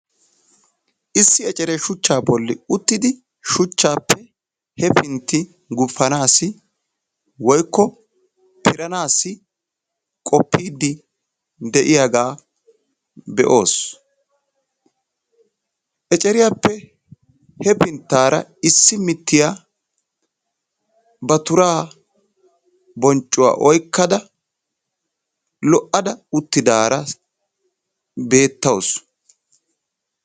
Issi ecceree shuchca bolli uttidi shuchchappe hefinti guppanassi woykko piranassi qopide de'iyaaga be'oos; ecceriyaappe hefinttaraissi mittiyaa ba turaa bonccuwaa oykkada lo'ada uttidaara beetawus.